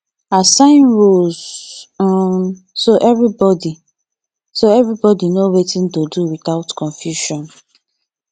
assign roles um so everybody so everybody know wetin to do without confusion